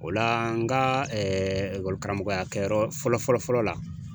O la n ka karamɔgɔya kɛyɔrɔ fɔlɔ fɔlɔ la